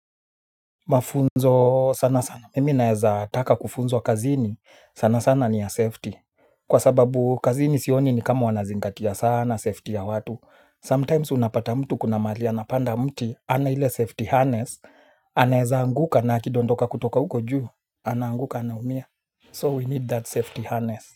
Mafunzo sana sana mimi naweza nataka kufunzwa kazini sana sana ni ya safety kwa sababu kazi ni sioni ni kama wanazingatia sana safety ya watu sometimes unapata mtu kuna mahali napanda mti hana ile safety harness anaweza anguka na akidondoka kutoka huko juu anaanguka anaumia so we need that safety harness.